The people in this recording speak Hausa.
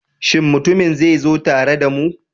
Shin mutumin zai zo tare da mu?